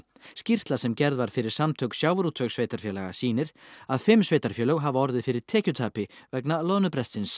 skýrsla sem gerð var fyrir Samtök sjávarútvegssveitarfélaga sýnir að fimm sveitarfélög hafa orðið fyrir tekjutapi vegna